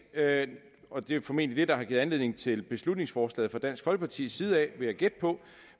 og det er formentlig det der har givet anledning til beslutningsforslaget fra dansk folkepartis side vil jeg gætte på